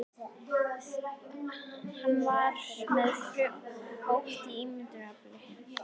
Hann er með frjótt ímyndunarafl.